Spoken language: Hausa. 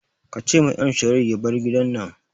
Ka ce ma M Sharif ya bar gidan nan